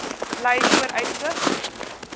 blyvooruitsig